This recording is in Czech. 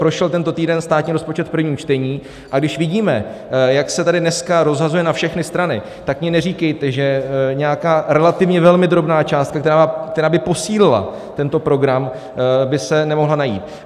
Prošel tento týden státní rozpočet v prvním čtení, a když vidíme, jak se tady dneska rozhazuje na všechny strany, tak mi neříkejte, že nějaká relativně velmi drobná částka, která by posílila tento program, by se nemohla najít.